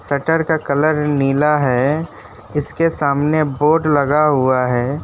Shutter का colour नीला है इसके सामने बोर्ड लगा हुआ है।